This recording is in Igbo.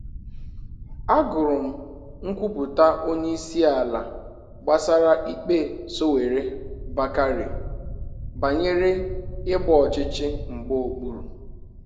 A gụrụ m nkwupụta onye ịsi ala gbasara ikpe Sowore-Bakare banyere ịgba ọchichi mgba okpuru